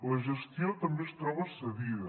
la gestió també es troba cedida